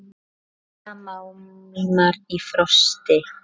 Ryðga málmar í frosti?